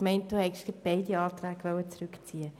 Ich meinte, Sie wollten gerade beide Anträge zurückziehen.